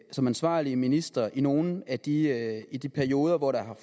som ansvarlige ministre i nogle af de af de perioder hvor der